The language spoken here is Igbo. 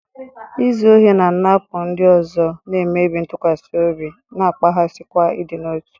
Izu ohi na-anapụ ndị ọzọ, na-emebi ntụkwasị obi, na-akpaghasịkwa ịdị n'otu.